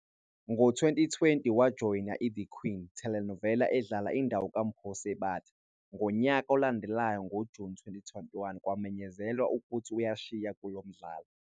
Ngo-2020, wajoyina "iThe Queen" telenova edlala indawo kaMpho Sebata, ngonyaka olandelayo ngoJuni 2021 kwamenyezelwa ukuthi uyashiya kulo mdlalo.